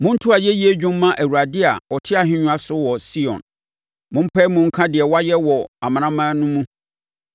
Monto ayɛyie dwom mma Awurade a ɔte ahennwa so wɔ Sion; mompae mu nka deɛ wayɛ wɔ amanaman no mu.